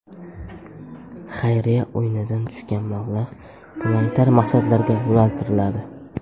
Xayriya o‘yinidan tushgan mablag‘ gumanitar maqsadlarga yo‘naltiriladi.